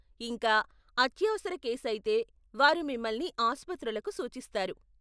ఇంకా, అత్యవసర కేసు అయితే వారు మిమ్మల్ని ఆసుపత్రులకు సూచిస్తారు.